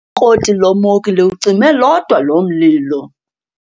Ikroti lomoki liwucime lodwa loo mlilo.